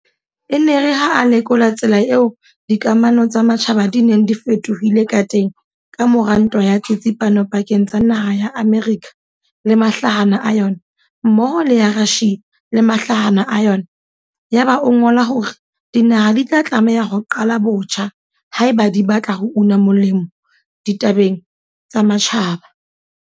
E ne e re ha a lekola tsela eo dikamano tsa matjhaba di neng di fetohile ka teng ka mora Ntwa ya Tsitsipano pakeng tsa naha ya Amerika le mahlahana a yona mmoho le ya Russia le mahlahana a yona, ya ba o ngola hore dinaha di tla tlameha ho "qala botjha" haeba di batla ho una molemo ditabeng tsa matjhaba.